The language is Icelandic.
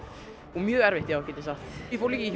og mjög erfitt get ég sagt ég fór líka í